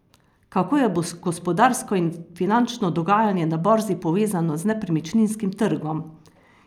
Kako je gospodarsko in finančno dogajanje na borzi povezano z nepremičninskim trgom?